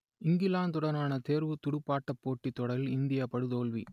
இங்கிலாந்துடனான தேர்வுத் துடுப்பாட்டப் போட்டித் தொடரில் இந்தியா படுதோல்வி